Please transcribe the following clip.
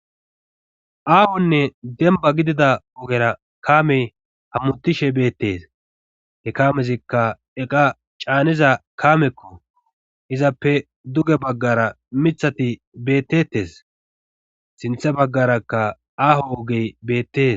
Aahonne demba gidida ogera kaamey hammutishe beettes he kaamezikka eqa caaniza kaamekko izappe duge baggara mithati beettettes sinthe baggarakka aaho ogey beettes